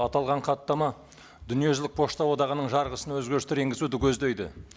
аталған хаттама дүниежүзілік пошта одағының жарғысына өзгерістер енгізуді көздейді